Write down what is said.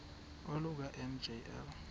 oluka ka njl